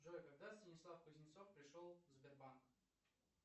джой когда станислав кузнецов пришел в сбербанк